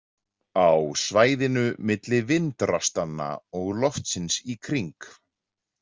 Á svæðinu milli vindrastanna og loftsins í kring.